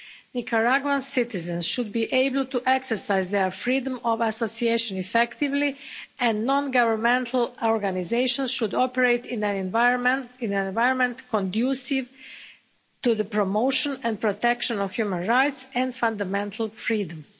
Nicaraguan citizens should be able to exercise their freedom of association effectively, and non governmental organisations should operate in an environment conducive to the promotion and protection of human rights and fundamental freedoms.